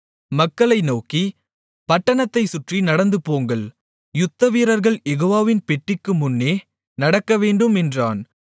மக்களை நோக்கி பட்டணத்தைச் சுற்றி நடந்துபோங்கள் யுத்த வீரர்கள் யெகோவாவின் பெட்டிக்குமுன்னே நடக்கவேண்டும் என்றான்